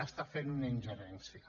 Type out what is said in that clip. està fent una ingerència